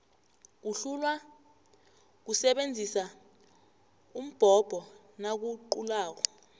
uhlulwa kusebenzisa umbhobho nakaqulako